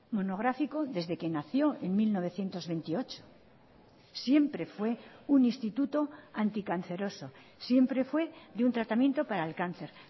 monográfico desde que nació en mil novecientos veintiocho siempre fue un instituto anticanceroso siempre fue de un tratamiento para el cáncer